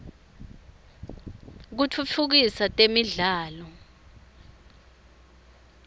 kitfutfukisa temidlalo